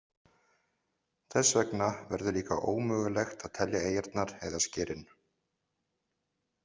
Þess vegna verður líka ómögulegt að telja eyjarnar eða skerin.